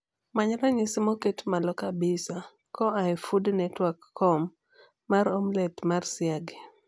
many rangisi moket malo kabisa koa e foodnetworkcom mar omlet mar siagi